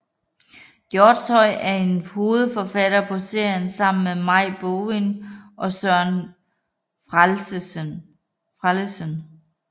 Hjortshøj er hovedforfatter på serien sammen med Maj Bovin og Søren Frellesen